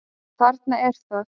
Þarna er það!